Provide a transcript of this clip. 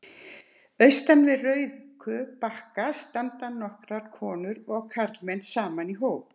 Austan við Rauðku brakka standa nokkrar konur og karlmenn saman í hóp.